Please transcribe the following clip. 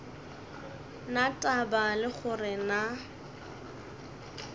na taba le gore na